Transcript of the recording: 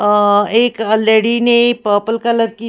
एक लेडी ने purple colour की--